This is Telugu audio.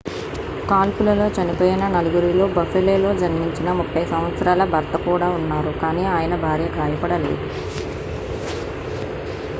కాల్పులలో చనిపోయిన నలుగురిలో buffaloలో జన్మించిన 30 సంవత్సరాల భర్త కూడా ఉన్నారు కానీ ఆయన భార్య గాయపడలేదు